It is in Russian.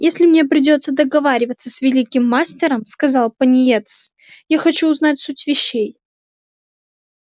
если мне придётся договариваться с великим мастером сказал пониетс я хочу знать суть вещей